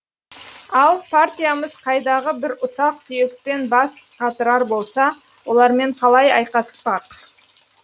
ал партиямыз қайдағы бір ұсақ түйекпен бас қатырар болса олармен қалай айқаспақ